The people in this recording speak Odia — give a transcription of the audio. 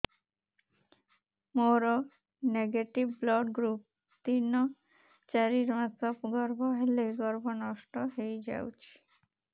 ମୋର ନେଗେଟିଭ ବ୍ଲଡ଼ ଗ୍ରୁପ ତିନ ଚାରି ମାସ ଗର୍ଭ ହେଲେ ଗର୍ଭ ନଷ୍ଟ ହେଇଯାଉଛି